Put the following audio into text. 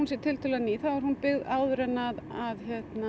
sé tiltölulega ný þá er hún byggð áður en að